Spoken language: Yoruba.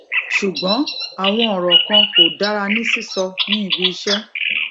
ṣùgbón àwọn ọrọ kan kò dára ní sísọ ní ibi iṣẹ